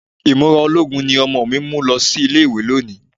Ìmúra ológun ni ọmọ mi mú lo ilé-ìwé lónìí